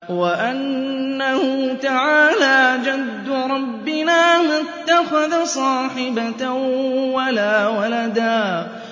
وَأَنَّهُ تَعَالَىٰ جَدُّ رَبِّنَا مَا اتَّخَذَ صَاحِبَةً وَلَا وَلَدًا